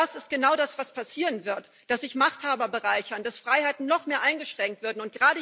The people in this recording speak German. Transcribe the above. Das ist genau das, was passieren wird dass sich Machthaber bereichern, dass Freiheiten noch mehr eingeschränkt werden.